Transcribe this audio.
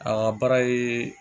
A ka baara ye